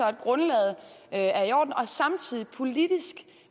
at grundlaget er i orden og samtidig politisk